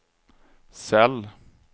cell